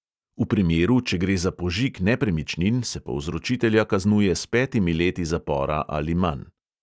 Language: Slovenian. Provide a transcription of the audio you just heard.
V primeru, če gre za požig nepremičnin, se povzročitelja kaznuje s petimi leti zapora ali manj.